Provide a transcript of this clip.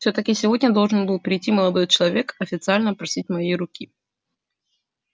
всё-таки сегодня должен был прийти молодой человек официально просить моей руки